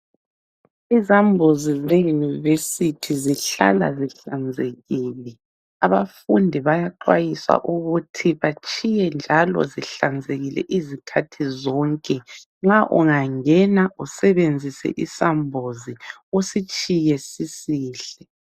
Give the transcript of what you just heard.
Izambuzi zeUnivesithi zihlala zihlanzekile. Abafundi bayaxhwayiswa ukuthi batshiye njalo zihlanzekile izikhathi zonke. Nxa ungangena usebenzise isambuzi usitshiye sisihle.